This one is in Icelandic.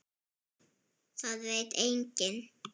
Það veit enginn